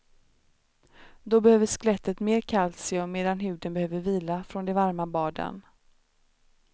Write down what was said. Då behöver skelettet mer kalcium medan huden behöver vila från de varma baden.